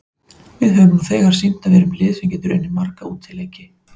Við höfum nú þegar sýnt að við erum lið sem getur unnið marga útileiki.